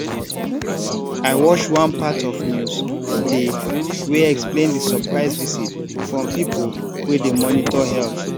i wash one part of news dey wey explain di surprise visit from pipo wey dey monitor health